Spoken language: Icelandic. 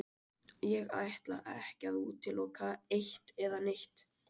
Ég ætla ekki að útiloka eitt eða neitt.